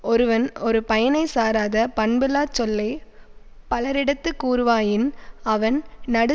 ஒருவன் ஒரு பயனைச் சாராத பண்பில்லாச் சொல்லை பலரிடத்துக் கூறுவாயின் அவன் நடு